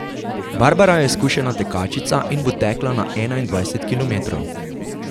Barbara je izkušena tekačica in bo tekla na enaindvajset kilometrov.